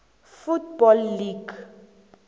football league